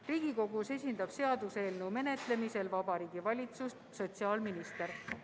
Riigikogus esindab seaduseelnõu menetlemisel Vabariigi Valitsust sotsiaalminister.